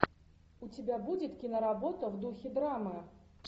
у тебя будет киноработа в духе драмы